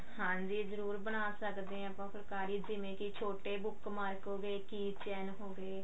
ਹਾਂਜੀ ਜਰੂਰ ਬਣਾ ਸਕਦੇ ਹਾਂ ਆਪਾਂ ਫੁਲਕਾਰੀ ਜਿਵੇਂ ਕੀ ਛੋਟੇ bookmark ਹੋਗੇ keychain ਹੋਗੇ